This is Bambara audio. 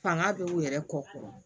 Fanga bɛ u yɛrɛ kɔ